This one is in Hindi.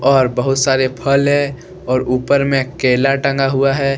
और बहुत सारे फल है और ऊपर में केला टंगा हुआ है।